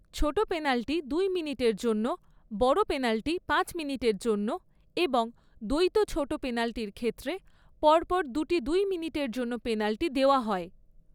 ছোট পেনাল্টি দুই মিনিটের জন্য, বড় পেনাল্টি পাঁচ মিনিটের জন্য এবং দ্বৈত ছোট পেনাল্টির ক্ষেত্রে পরপর দুটি দুই মিনিটের জন্য পেনাল্টি দেওয়া হয়।